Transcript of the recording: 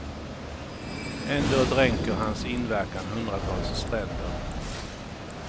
Ändå dränker hans inverkan hundratals stränder.